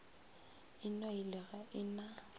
e nailwe ga e na